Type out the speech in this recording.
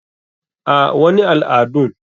A,wani al adun.